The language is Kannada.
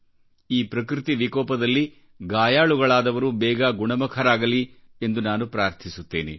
ಈ ಪ್ರಕೃತಿವಿಕೋಪದಲ್ಲಿ ಗಾಯಾಳುಗಳಾದವರು ಬೇಗ ಗುಣಮುಖರಾಗಲಿ ಎಂದು ನಾನು ಪ್ರಾರ್ಥಿಸುತ್ತೇನೆ